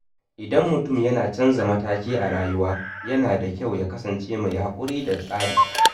Idan mutum yana canza mataki a rayuwa, yana da kyau ya kasance mai haƙuri da tsari.